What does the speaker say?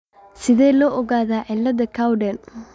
Sidee loo ogaadaa cilada Cowden?